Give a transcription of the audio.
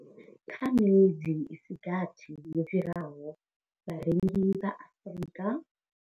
Kha miṅwedzi i si gathi yo fhiraho, vharengi vha Afrika.